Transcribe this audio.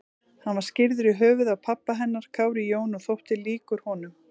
Hann var skírður í höfuðið á pabba hennar, Kári Jón, og þótti líkur honum.